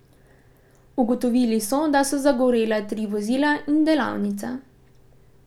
Ugotovili so, da so zagorela tri vozila in delavnica.